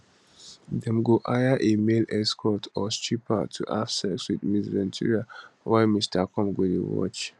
dem go hire a male escort or stripper to have sex with ms ventura while mr combs go dey watch